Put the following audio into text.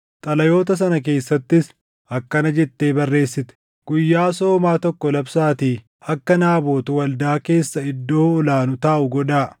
Xalayoota sana keessattis akkana jettee barreessite: “Guyyaa soomaa tokko labsaatii akka Naabot waldaa keessa iddoo ol aanu taaʼu godhaa.